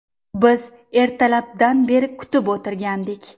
Biz ertalabdan beri kutib o‘tirgandik.